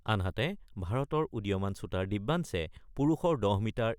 আনহাতে ভাৰতৰ উদীয় মান শুতাৰ দিব্যাঞ্চে পুৰুষৰ ১০ মিটাৰ